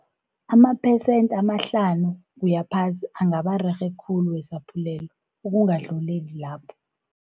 Amaphesent amahlanu kuyaphasi, angaba rerhe khulu wesaphulelo ukungadluleli lapho.